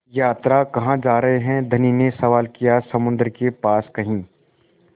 यात्रा कहाँ जा रहे हैं धनी ने सवाल किया समुद्र के पास कहीं